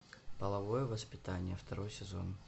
половое воспитание второй сезон